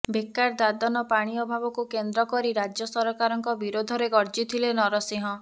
ବେକାର ଦାଦନ ପାଣି ବଭାବ କୁ କେନ୍ଦ୍ର ସ ରାଜ୍ୟସରକାରଙ୍କ ବିରୋଧରେ ଗର୍ଜିଥିଲେ ନରସିଂହ